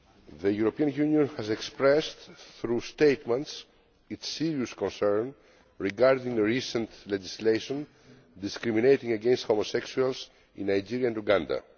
The European Union has expressed, through statements, its serious concern regarding the recent legislation discriminating against homosexuals in Nigeria and Uganda.